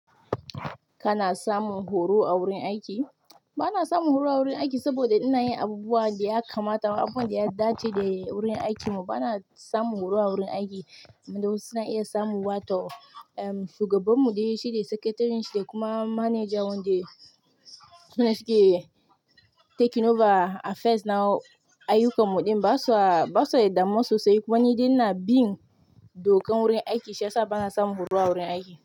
Kana samun horo a wurin aiki? Bana samun horo a wurin aiki saboda ina yin abubuwan da ya kamata, abubuwan da ya dace da wurin aikimu. Bana samun horo a wurin aiki, wanda wasu suna iya samuwa to, ehm, shugabanmu dai shi de secretary shi de kuma manajan wanda sune suke taking over affairs na ayyukanmu ɗin, ba su a, ba su da damuwa sosai. Kuma ni dai ina bin dokan wurin aiki shi ya sa bana samun horo a wurin aiki.